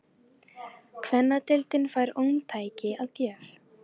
Kvennadeildin fær ómtæki að gjöf